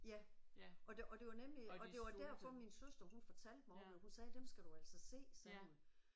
Ja og det og det var nemlig og det var derfor min søster hun fortalte mig om dem. Hun sagde dem skal du altså se sagde hun